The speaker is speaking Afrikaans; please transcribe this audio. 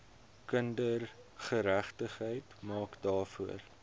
kindergeregtigheid maak daarvoor